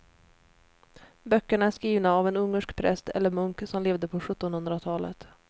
Böckerna är skrivna av en ungersk präst eller munk som levde på sjuttonhundratalet.